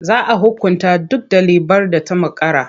Za a hukunta duk ɗalibar da ta makara.